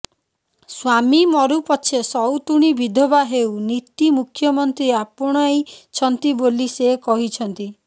ସ୍ୱାମୀ ମରୁ ପଛେ ସଉତୁଣୀ ବିଧବା ହେଉ ନୀତି ମୁଖ୍ୟମନ୍ତ୍ରୀ ଆପଣାଇଛନ୍ତି ବୋଲି ସେ କହିଛନ୍ତି